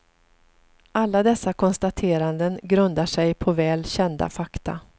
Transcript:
Alla dessa konstateranden grundar sig på väl kända fakta.